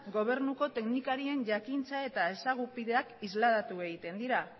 gobernuko teknikarien jakintza eta ezagupideak isladatu egiten dira